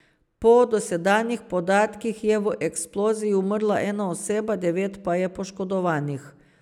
Po dosedanjih podatkih je v eksploziji umrla ena oseba, devet pa je poškodovanih.